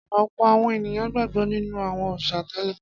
Ọ̀pọ̀ àwọn ènìyàn gbàgbọ́ nínú àwọn òrìṣà tẹ́lẹ̀.